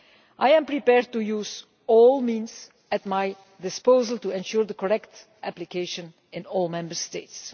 I am prepared to use all means at my disposal to ensure correct application of the law in all Member States.